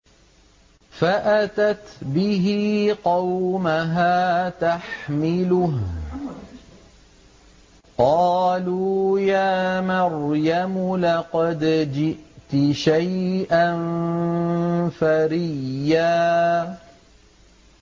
فَأَتَتْ بِهِ قَوْمَهَا تَحْمِلُهُ ۖ قَالُوا يَا مَرْيَمُ لَقَدْ جِئْتِ شَيْئًا فَرِيًّا